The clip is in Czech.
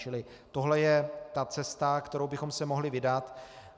Čili tohle je ta cesta, kterou bychom se mohli vydat.